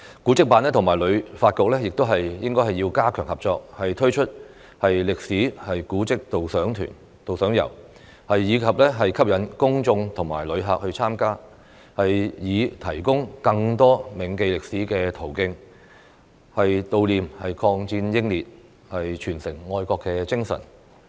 古蹟辦和旅發局亦要加強合作，推出歷史古蹟導賞遊，吸引公眾和遊客參加，以提供更多銘記歷史的途徑，悼念抗戰英烈，傳承愛國精神。